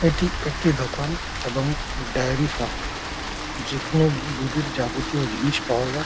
এটি একটি দোকান এবং ডায়রি ফার্ম যেখানে মূল রুগীর যাবতীয় জিনিস পাওয়া যায়।